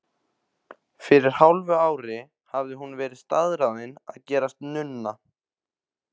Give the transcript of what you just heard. Fyrir hálfu ári hafði hún verið staðráðin að gerast nunna.